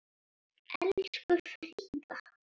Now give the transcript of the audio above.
Elsku Fríða.